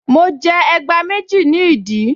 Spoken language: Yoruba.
Mo jẹ ẹgbá méjì ní ìdí